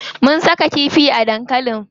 Mun saka kifi a dankalin.